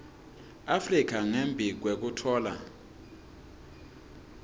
afrika ngembi kwekutfola